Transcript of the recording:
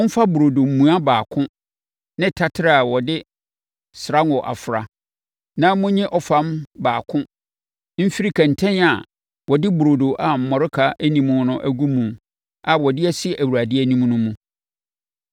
Momfa burodo mua baako ne taterɛ a wɔde srango afra, na monyi ɔfam baako mfiri kɛntɛn a wɔde burodo a mmɔreka nni mu agu mu a wɔde asi Awurade anim no mu.